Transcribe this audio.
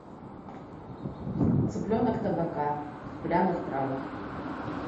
цыпленок табака в пряных травах